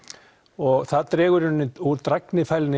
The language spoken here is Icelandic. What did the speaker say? og það dregur úr